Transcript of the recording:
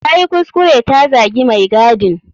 Tayi kuskure ta zagi mai gadin.